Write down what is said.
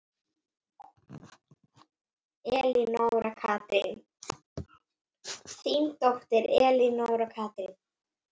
Þín dóttir, Elenóra Katrín.